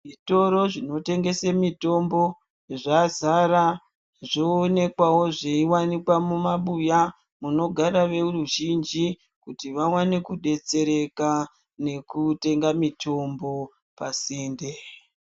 Zvitoro zvinotengesa mutombo zvazara zvoonekwawo zvei wanikwa mu mabuya munogara veu zhinji kuti vawane ku detsereka nekutenga mitombo pa sinde.